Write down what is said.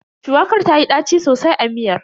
Shuwakar tayi ɗaci sosai a miyar.